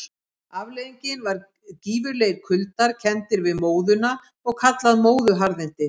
Afleiðingin var gífurlegir kuldar, kenndir við móðuna og kallaðir móðuharðindi.